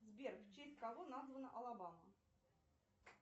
сбер в честь кого названа алабама